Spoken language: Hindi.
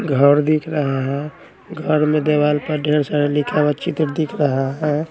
घर दिख रहा है घर में देवाल पर ढ़ेर सारा लिखा हुआ चित्र दिख रहा है।